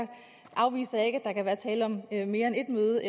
afviser jeg ikke at der kan være tale om mere end et møde